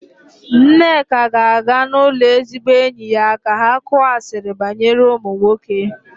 Nneka ga-aga n'ụlọ ezigbo enyi ya ka ha kuọ asiri banyere ụmụ nwoke.